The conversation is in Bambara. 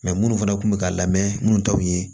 minnu fana kun bɛ ka lamɛn minnu ta u ye